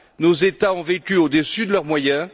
Nos États ont vécu au dessus de leurs moyens.